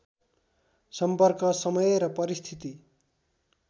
सम्पर्क समय र परिस्थिति